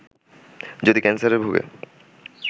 যদি ক্যানসারে ভোগে